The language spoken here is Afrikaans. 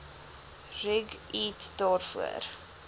rig eat daarvoor